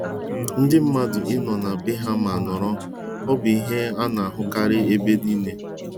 Ndị mmadụ ị nọrọ na bee ha ma nọrọ ọ bụ ihe ana-ahụkarị ebe niile.